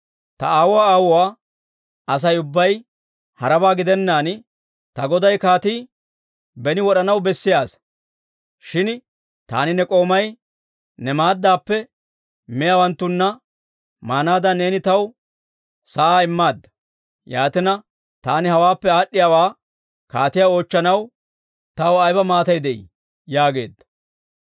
Ta aawuwaa aawuwaa Asay ubbay harabaa gidennaan, ta goday kaatii beni wod'anaw bessiyaa asaa; shin taani ne k'oomay ne maaddappe miyaawanttunna maanaadan neeni taw sa'aa immaadda. Yaatina, taani hawaappe aad'd'iyaawaa kaatiyaa oochchanaw taw ayba maatay de'ii?» yaageedda.